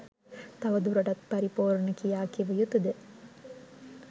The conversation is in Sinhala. තව දුරටත් පරිපූර්ණ කියා කිව යුතුද.